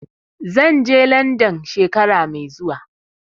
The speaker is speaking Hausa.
Zan je London shekara mai zuwa.